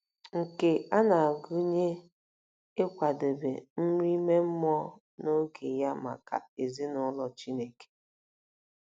Nke a na-agụnye ịkwadebe nri ime mmụọ n'oge ya maka ezinụlọ Chineke.